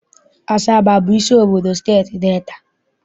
Asaba abụ isi obodo Steeti Delta?